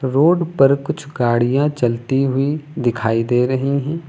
Road पर कुछ गाड़ियां चलती हुई दिखाई दे रही हैं।